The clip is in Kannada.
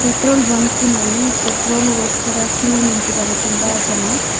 ಪೆಟ್ರೋಲ್ ಬಂಕಿನಲ್ಲಿ ಪೆಟ್ರೋಲ್ ಗಾಗಿ ಕ್ಯು ನಿಂತಿದ್ದಾರೆ.